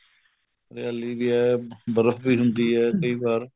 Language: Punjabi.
ਹਰਿਆਲੀ ਏਹ ਬਰਫ਼ ਵੀ ਹੁੰਦੀ ਏ ਕਈ ਵਾਰ